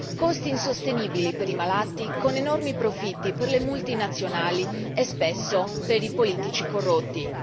con costi insostenibili per i malati ed enormi profitti per le multinazionali e spesso per i politici corrotti.